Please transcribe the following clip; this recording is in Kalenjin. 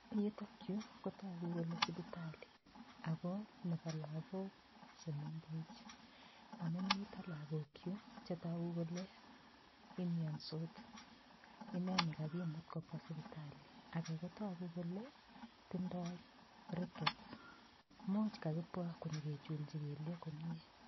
Yutokyu kotoku kole sipitali ako nebo lakok chemengech amun mito lakok yu chetoku kole imiyonsot ineni kakimut kobwa sipitali ake kotoku kole tindoi rickets muuch kakibwa konyikechilji kelyek komye